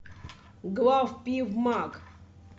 главпивмаг